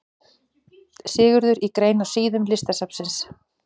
Sigurður í grein á síðum Listasafnsins.